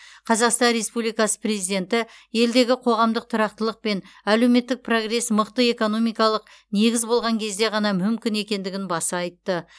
қазақстан республикасы президенті елдегі қоғамдық тұрақтылық пен әлеуметтік прогресс мықты экономикалық негіз болған кезде ғана мүмкін екендігін баса айтты